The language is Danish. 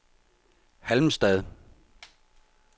Halmstad